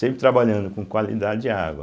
Sempre trabalhando com qualidade de água.